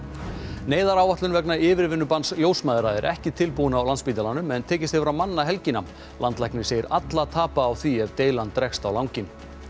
neyðaráætlun vegna yfirvinnubanns ljósmæðra er ekki tilbúin á Landspítalanum en tekist hefur að manna helgina landlæknir segir alla tapa á því ef deilan dregst á langinn